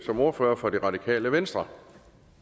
som ordfører for det radikale venstre